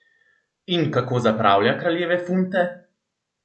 In kako zapravlja kraljeve funte?